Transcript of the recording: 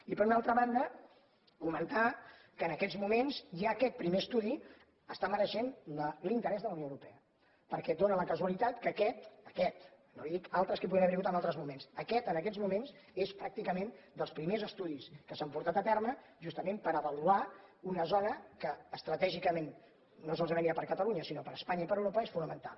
i per una altra banda comentar que en aquests mo·ments ja aquest primer estudi està mereixent l’interès de la unió europea perquè dóna la casualitat que aquest aquest no li dic altres que poden haver·hi hagut en altres moments aquest en aquests moments és pràc·ticament dels primers estudis que s’han portat a terme justament per avaluar una zona que estratègicament no solament ja per a catalunya sinó per a espanya i per a europa és fonamental